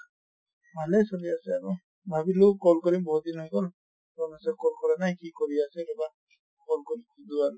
ভালে চলি আছে আৰু। ভাবিলো call কৰিম বহুত দিন হৈ গʼল ৰমেশক call কৰা নাই। কি কৰি আছে এবাৰ call কৰি সুধো আৰু।